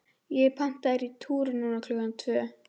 ég er pantaður í túr núna klukkan tvö.